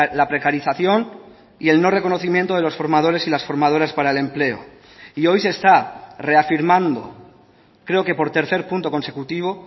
la precarización y el no reconocimiento de los formadores y las formadoras para el empleo y hoy se está reafirmando creo que por tercer punto consecutivo